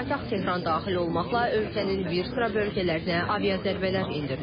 Paytaxt Tehran da daxil olmaqla ölkənin bir sıra bölgələrinə avia zərbələr endirilir.